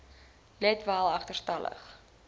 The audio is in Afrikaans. let wel agterstallige